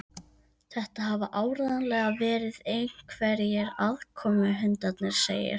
Þetta hafa áreiðanlega verið einhverjir aðkomuhundarnir segir